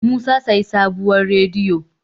musa sayi sabuwar rediyo